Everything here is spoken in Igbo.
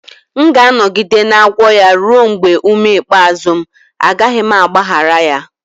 M ga-anọgide na-agwọ ya ruo mgbe ume ikpeazụ m, agaghị m agbaghara ya